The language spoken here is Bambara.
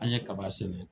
An ye kaba sɛnɛ